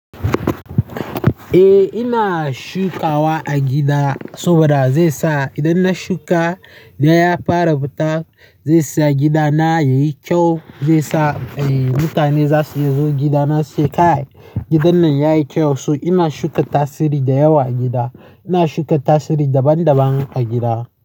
Eh ina shukawa a gida saboda zai sa idan na shuka, ya fara fita, zai sa gidana yayi kyau, zai sa mutane za su iya zo gidana suce kai gidan nan yayi kyau. To ina shuka tasiri da yawa a gida. Ina shuka tasiri daban daban a gida.